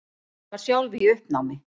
Var sjálf í uppnámi.